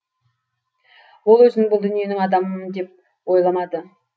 ол өзін бұл дүниенің адамымын деп ойламады